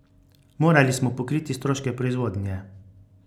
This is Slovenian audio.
Morali smo pokriti stroške proizvodnje.